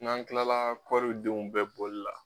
N'an kilala kɔridenw bɛɛ bɔli la.